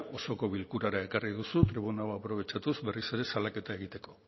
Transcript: osoko bilkurara ekarri duzu tribuna hau aprobetxatuz berriz ere salaketa egiteko